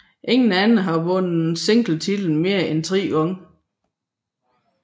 Ingen andre har vundet singletitlen mere end tre gange